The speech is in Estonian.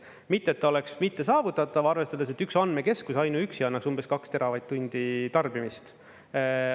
Mitte et ta oleks mittesaavutatav, arvestades, et üks andmekeskus ainuüksi annaks umbes 2 teravatt-tundi tarbimist.